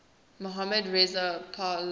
mohammad reza pahlavi